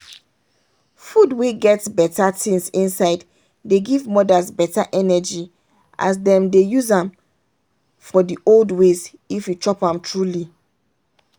food wey get better things inside dey give mothers better energy as them dey use am for the old ways if you chop am truly